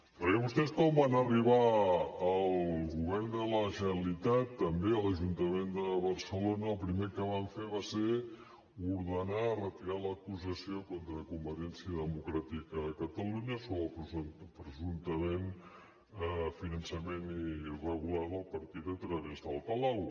perquè vostès quan van arribar al govern de la generalitat també a l’ajuntament de barcelona el primer que van fer va ser ordenar retirar l’acusació contra convergència democràtica de catalunya sobre el presumptament finançament irregular del partit a través del palau